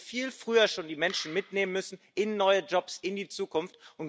Man hätte viel früher schon die Menschen mitnehmen müssen in neue Jobs, in die Zukunft.